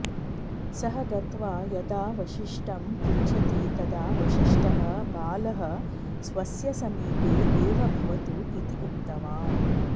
सः गत्वा यदा वसिष्ठं पृच्छति तदा वसिष्ठः बालः स्वस्य समीपे एव भवतु इति उक्तवान्